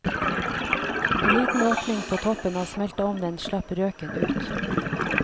En liten åpning på toppen av smelteovnen slapp røken ut.